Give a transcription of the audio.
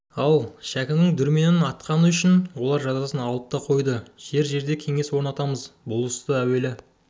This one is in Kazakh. ал шәкінің дүрменін атқаны үшін олар жазасын алып та қойды жер-жерде кеңес орнатамыз бұл істі әуелі